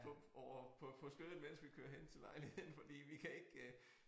På ovre på på skødet mens vi kører hen til lejligheden fordi vi kan ikke øh